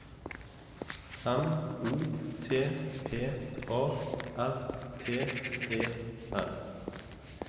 M O T P A R T E N